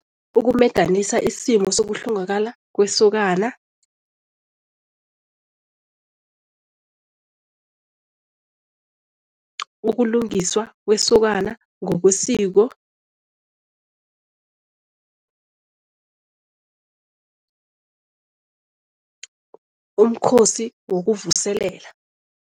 Ukumedanisa isimo sokuhlongakala kwesokana ukulungiswa kwesokana ngokwesiko umkhosi wokuvuselela.